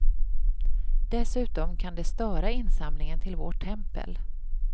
Dessutom kan det störa insamlingen till vårt tempel.